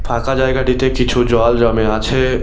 ফাঁকা জায়গাটিতে কিছু জল জমে আছে।